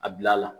A bila a la